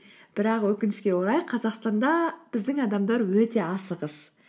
бірақ өкінішке орай қазақстанда біздің адамдар өте асығыс